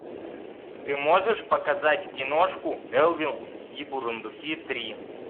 ты можешь показать киношку элвин и бурундуки три